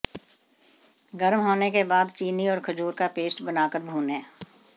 गरम होने के बाद चीनी और खजूर का पेस्ट बनाकर भूनें